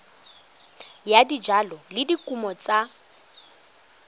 ya dijalo le dikumo tsa